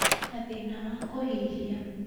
na thĩna wa kũhihia,